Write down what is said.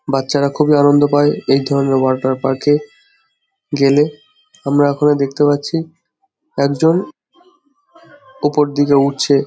বাচ্ছারা খুবই আনন্দ পায় এই ধরণের ওয়াটার পার্ক -এ গেলে | আমরা ওখানে দেখতে পাচ্ছি একজন ওপর দিকে উঠছে।